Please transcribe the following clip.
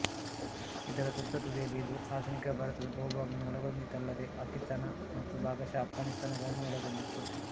ಇದರ ತುತ್ತ ತುದಿಯಲ್ಲಿ ಇದು ಆಧುನಿಕ ಭಾರತದ ಬಹುಭಾಗವನ್ನು ಒಳಗೊಂಡಿತ್ತಲ್ಲದೆ ಪಾಕಿಸ್ತಾನ ಮತ್ತು ಭಾಗಶಃ ಅಫ್ಘಾನಿಸ್ತಾನಗಳನ್ನೂ ಒಳಗೊಂಡಿತ್ತು